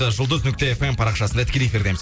жұлдыз нүкте эф эм парақшасында тікелей эфирдеміз